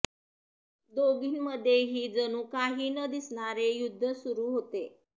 दोघींमध्येही जणू काही न दिसणारे युद्धच सुरु होते